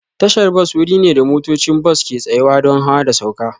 Tasha bas wuri ne da motocin bas ke tsayawa don hawa da sauka.